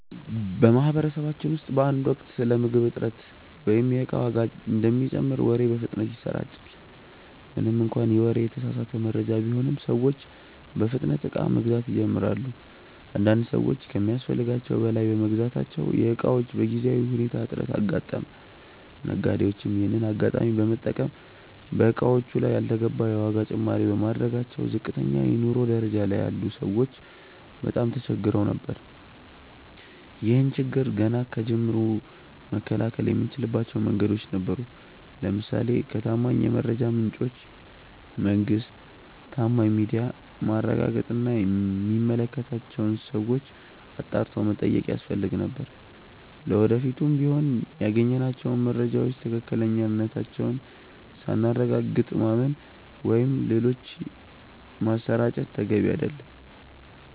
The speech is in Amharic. በማህበረሰባችን ውስጥ በአንድ ወቅት ስለ ምግብ እጥረት ወይም የእቃ ዋጋ እንደሚጨምር ወሬ በፍጥነት ይሰራጫል። ምንም እንኳን ይህ ወሬ የተሳሳተ መረጃ ቢሆንም፤ ሰዎች በፍጥነት እቃ መግዛት ይጀምራሉ። አንዳንድ ሰዎች ከሚያስፈልጋቸው በላይ በመግዛታቸው የእቃዎች በጊዜያዊ ሁኔታ እጥረት አጋጠመ። ነጋዴዎችም ይሄንን አጋጣሚ በመጠቀም በእቃዎቹ ላይ ያልተገባ የዋጋ ጭማሪ በማድረጋቸው ዝቅተኛ የኑሮ ደረጃ ላይ ያሉ ሰዎች በጣም ተቸግረው ነበር። ይህን ችግር ገና ከጅምሩ መከላከል የምንችልባቸው መንገዶች ነበሩ። ለምሳሌ ከታማኝ የመረጃ ምንጮች (መንግስት፣ ታማኝ ሚዲያ)ማረጋገጥ እና የሚመለከታቸውን ሰዎች አጣርቶ መጠየቅ ያስፈልግ ነበር። ለወደፊቱም ቢሆን ያገኘናቸውን መረጃዎች ትክክለኛነታቸውን ሳናረጋግጥ ማመን ወይም ሌሎች ማሰራጨት ተገቢ አይደለም።